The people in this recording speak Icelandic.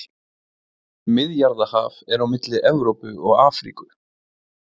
Miðjarðarhaf er á milli Evrópu og Afríku.